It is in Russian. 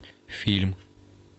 фильм